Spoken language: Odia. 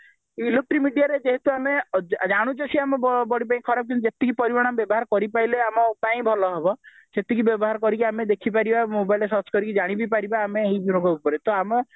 ଯେହେତୁ ଆମେ ଜାନୁଚେ ସେ ଆମ body ପାଇଁ ଖରାପ ଜିନିଷ ଯେତିକି ପରିମାଣରେ ଆମେ ବ୍ୟବହାର କରିପାରିଲେ ଆମ ପାଇଁ ଭଲ ହେବ ସେତିକି ବ୍ୟବହାର କରି ଦେଖିପାରିବା mobileରେ search କରିକି ଜାଣିବି ପାରିବା ଆମେ ଏମାନଙ୍କ ଉପରେ